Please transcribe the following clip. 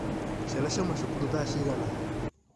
Ciana ciauma cukuru thaa cigana?